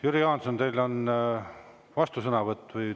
Jüri Jaanson, teil on vastusõnavõtt.